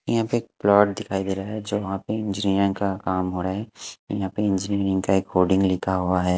यहाँ पे एक प्लॉट दिखाई दे रहा है जो वहाँ पे इंजिनीअर का काम हो रहा है यहाँ पे इंजीनियरिंग का एक कोडिंग लिखा हुआ है।